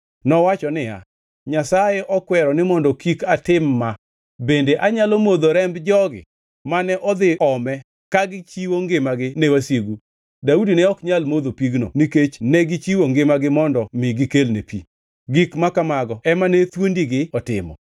Nowacho niya, “Nyasaye okwero ni mondo kik atim ma! Bende anyalo modho remb jogi mane odhi ome ka gichiwo ngimagi ne wasigu?” Daudi ne ok nyal modho pigno nikech negichiwo ngimagi mondo mi gikelne pi. Gik ma kamago ema ne thuondigi otimo.